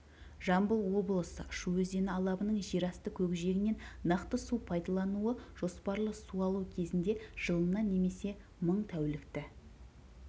жамбыл облысы шу өзені алабының жерасты көкжиегінен нақты су пайдалануы жоспарлы су алу кезінде жылына немесе мың тәулікті